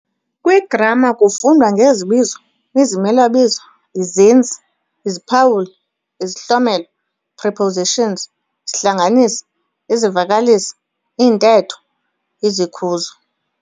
Kwigramma kufundwa ngezibizo, izimelabizo, izenzi, iziphawuli, izihlomelo, prepositions, isihlanganisi, izivakalisi, iintetho, izikhuzo.